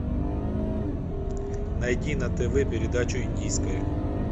найди на тв передачу индийское